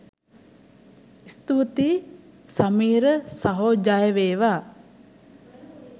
ස්තුතියි සමිර සහෝ ජය වේවා!